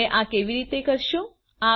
તમે આ કેવી રીતે કરશો